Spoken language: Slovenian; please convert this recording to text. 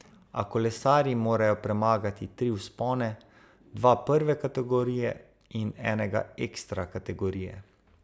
A kolesarji morajo premagati tri vzpone, dva prve kategorije in enega ekstra kategorije.